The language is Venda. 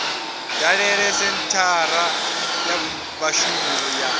dalele senthara ya vhashumi ya